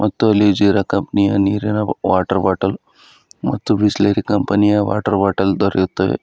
ಮತ್ತು ಅಲ್ಲಿ ಜೀರಾ ಕಂಪನಿ ಯ ನೀರಿನ ವಾಟರ್ ಬಾಟಲ್ ಮತ್ತು ಬಿಸ್ಲೇರಿ ಕಂಪನಿ ಯ ವಾಟರ್ ಬಾಟಲ್ ದೊರೆಯುತ್ತವೆ.